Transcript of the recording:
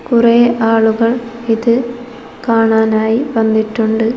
കുറേ ആളുകൾ ഇത് കാണാനായി വന്നിട്ടുണ്ട്.